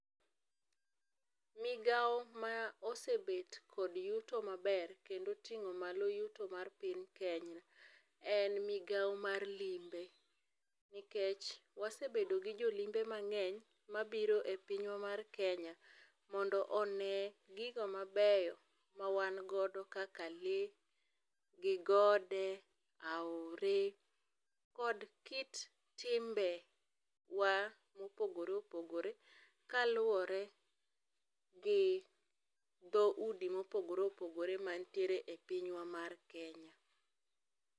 Migao ma osebet kod yuto maber kendo otingo malo yuto mar piny Kenya en migao mar limbe nikech wasebedo gi jolimbe mangeny mabiro e pinywa mar Kenya mondo one gigo mabeyo mawan godo kaka lee gi gode, aore, kod kit timbewa mopogore opogore kaluore gi dhoudi mopogore opogore mantiere e pinywa mar Kenya